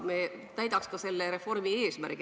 Nii täidaksime ka selle reformi eesmärgi.